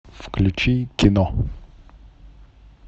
включи кино